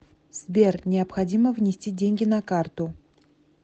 сбер необходимо внести деньги на карту